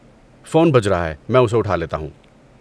Phone بج رہا ہے، میں اسے اٹھا لیتا ہوں۔